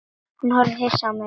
Horfði á mig hissa.